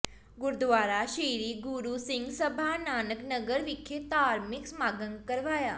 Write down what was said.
ਗੁਰਦੁਆਰਾ ਸ੍ਰੀ ਗੁਰੂ ਸਿੰਘ ਸਭਾ ਨਾਨਕ ਨਗਰ ਵਿਖੇ ਧਾਰਮਿਕ ਸਮਾਗਮ ਕਰਵਾਇਆ